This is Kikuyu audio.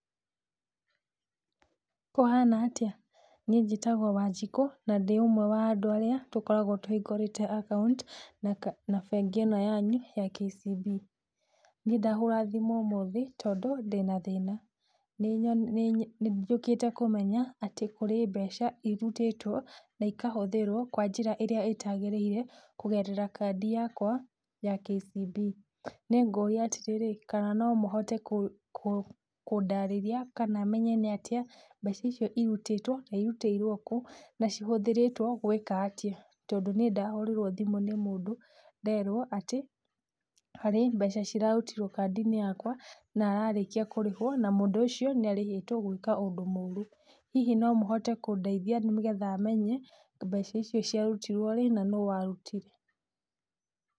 Kũhana atĩa? Niĩ njĩtagwo Wanjikũ na ndĩ ũmwe wa andũ arĩa tũkoragwo tũhingũrĩte account na bengi ĩno yanyu ya KCB. Niĩ ndahũra thimũ ũmũthĩ tondũ ndĩna thĩna. Nĩ njũkĩte kũmenya atĩ kũrĩ mbeca irutĩtwo na ikahũthĩrwo kwa njĩra ĩrĩa ĩtagĩrĩirwo kũgerera kandi yakwa ya KCB. Nĩ ngũria atĩrĩrĩ, kana no mũhote kũndaarĩria kana menye nĩ atĩa mbeca icio irutĩtwo, na irutĩirwo kũ na cihũthĩrĩtwo gwĩka atĩa. Tondũ niĩ ndahũrirwo thimũ nĩ mũndũ nderwo atĩ harĩ mbeca cirarutirwo kaandi-inĩ yakwa na ararĩkia kũrĩhũo na mũndũ ũcio nĩarĩhĩtwo gwĩka ũndũ mũũru. Hihi no mũhote kũndeithia nĩgetha menye mbeca icio ciarutirwo rĩ na nũ warutire?